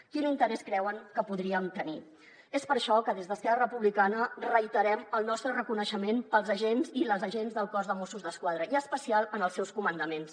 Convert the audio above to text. quin interès creuen que hi podríem tenir és per això que des d’esquerra republicana reiterem el nostre reconeixement pels agents i les agents del cos de mossos d’esquadra i en especial pels seus comandaments